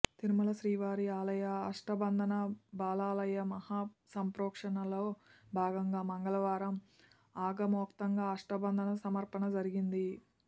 తిరుమల శ్రీవారి ఆలయ అష్టబంధన బాలాలయ మహా సంప్రోక్షణలో భాగంగా మంగళవారం ఆగమోక్తంగా అష్టబంధన సమర్పణ జరిగింది